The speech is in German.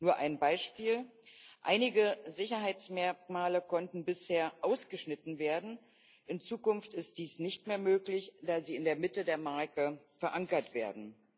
Nur ein Beispiel Einige Sicherheitsmerkmale konnten bisher ausgeschnitten werden in Zukunft ist dies nicht mehr möglich, da sie in der Mitte der Marke verankert werden.